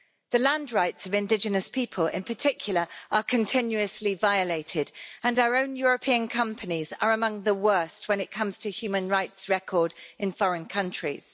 The land rights of indigenous people in particular are continuously violated and our own European companies are among the worst when it comes to human rights records in foreign countries.